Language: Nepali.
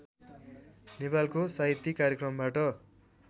नेपालको साहित्यिक कार्यक्रमबाट